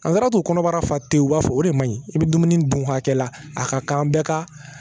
An taara to kɔnɔbara fa tɛ yen u b'a fɔ o de ma ɲi i bɛ dumuni dun hakɛ la a ka kan an bɛɛ ka